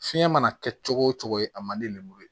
Fiɲɛ mana kɛ cogo o cogo a man di le lemuru ye